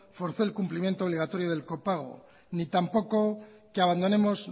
forzó el cumplimiento del copago ni tampoco que abandonemos